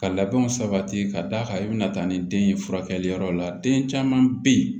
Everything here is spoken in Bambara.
Ka labɛnw sabati ka d'a kan i bɛna taa ni den ye furakɛliyɔrɔ la den caman bɛ yen